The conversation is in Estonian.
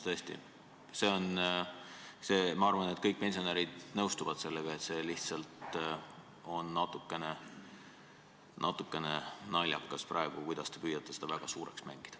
Tõesti, see on – ma arvan, et kõik pensionärid nõustuvad sellega – praegu lihtsalt natukene naljakas, kuidas te püüate seda väga suureks mängida.